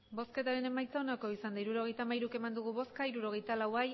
hirurogeita hamairu eman dugu bozka hirurogeita lau